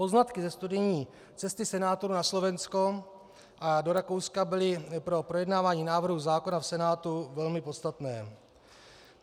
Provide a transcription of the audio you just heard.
Poznatky ze studijní cesty senátorů na Slovensko a do Rakouska byly pro projednávání návrhu zákona v Senátu velmi podstatné.